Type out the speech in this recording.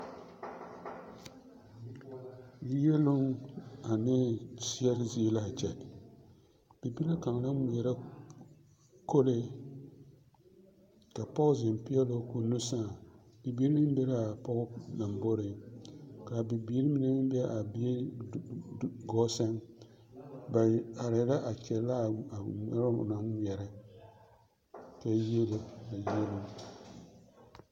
Yieluŋ ane seɛre zie l'a kyɛ, bibile kaŋa la ŋmeɛrɛ kolee ka pɔge zeŋ peɛloo k'o nu sãã, bibiiri meŋ be l'a pɔge lomboriŋ k'a bibiiri mine meŋ be a bie gɔɔ sɛŋ, ba arɛɛ la a kyɛllɛ a ŋmeɛbo o naŋ ŋmeɛrɛ kyɛ yiele a yieluŋ.